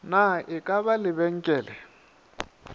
na e ka ba lebenkele